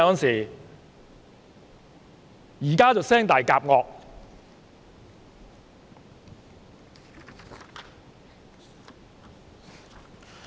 現在就"聲大夾惡"。